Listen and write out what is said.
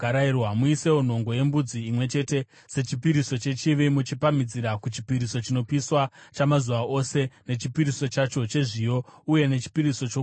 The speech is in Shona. Muisewo nhongo yembudzi imwe chete sechipiriso chechivi, muchipamhidzira kuchipiriso chinopiswa chamazuva ose nechipiriso chacho chezviyo, uye nechipiriso chokunwa.